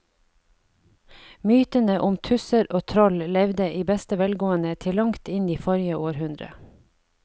Mytene om tusser og troll levde i beste velgående til langt inn i forrige århundre.